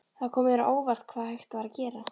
Það kom mér á óvart hvað hægt var að gera.